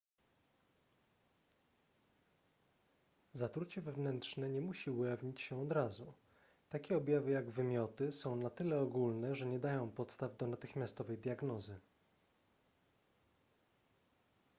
zatrucie wewnętrzne nie musi ujawnić się od razu takie objawy jak wymioty są na tyle ogólne że nie dają podstaw do natychmiastowej diagnozy